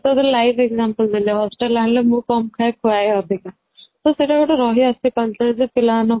ତାପରେ live example ଦେଲେ hostel ଆଣିଲେ ମୁଁ କମ ଖାଏ ଖୁଆଏ ଅଧିକା ତ ସେଇଟା ଗୋଟେ ରହି ଆସିଛି ପିଲାମାନଙ୍କୁ